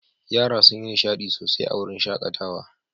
Yara sun yi nishaɗi sosai a wurin shaƙatawa.